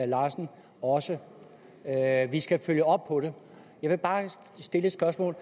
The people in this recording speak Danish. larsen også at vi skal følge op på det jeg vil bare stille et spørgsmål